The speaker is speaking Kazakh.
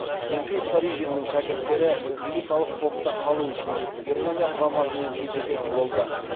сергей старыгиннің шәкірттері элиталық топта қалу үшін германия құрамасымен кездесетін болды